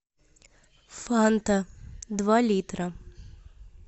фанта два литра